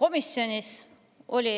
Komisjonis oli